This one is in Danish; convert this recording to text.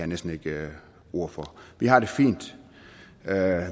næsten ikke ord for vi har det fint